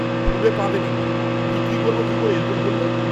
ফুলে পা দেবেন না! বিক্রি করবো কী করে এরকম করলে!